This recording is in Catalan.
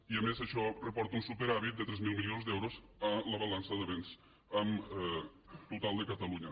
i a més d’això reporta un superàvit de tres mil milions d’euros a la balança de béns en el total de catalunya